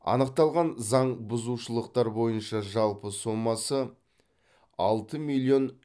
анықталған заңбұзушылықтар бойынша жалпы сомасы алты миллион